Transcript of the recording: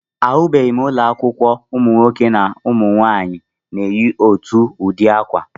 Ahụbeghị m ụlọakwụkwọ ụmụnwaanyị na ụmụnwoke na-eyi otu ụdị akwa